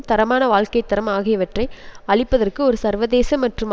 தரமான வாழ்க்கை தரம் ஆகியவற்றை அளிப்பதற்கு ஒரு சர்வதேச மற்றும்